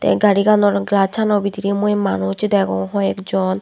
tey gariganor glasaano bedirey mui manus degong hoi ekjon.